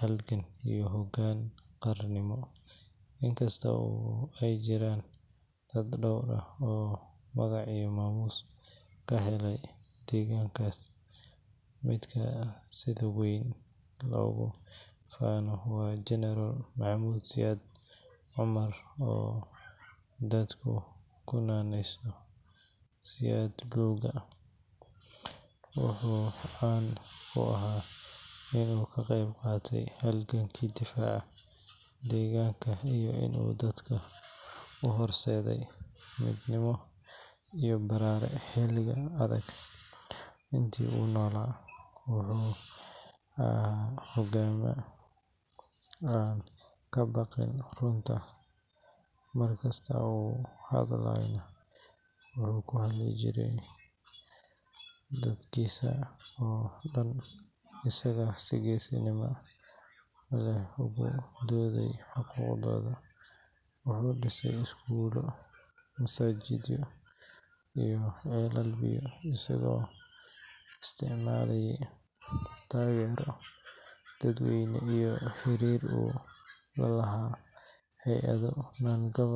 halgan iyo hoggaan qaranimo. Inkasta oo ay jiraan dad dhowr ah oo magac iyo maamuus ka helay deegaankaas, midka sida weyn loogu faano waa General Maxamed Siyaad Cumar oo dadku ku naanayso “Siyaad Luuga.” Wuxuu caan ku ahaa in uu ka qeyb qaatay dagaalladii difaaca deegaanka iyo in uu dadka u horseeday midnimo iyo baraare xilliyo adag. Intii uu noolaa, wuxuu ahaa halgamaa aan ka baqan runta, mar kasta oo uu hadlayeyna wuxuu u hadlayey dadkiisa oo dhan isagoo si geesinimo leh ugu doodaya xaqooda. Wuxuu dhisay iskuulo, masaajidyo iyo ceelal biyood isagoo isticmaalaya taageero dadweyne iyo xiriir uu la lahaa hay’ado non-governmental